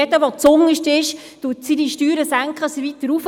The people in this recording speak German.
Jeder, der zuunterst ist, senkt seine Steuern, damit er hinaufkommt.